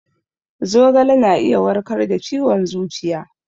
Zogale na iya warkar da ciwon zuciya